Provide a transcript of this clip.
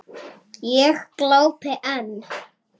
Ég glápi enn.